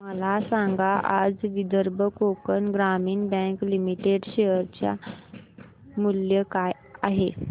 मला सांगा आज विदर्भ कोकण ग्रामीण बँक लिमिटेड च्या शेअर चे मूल्य काय आहे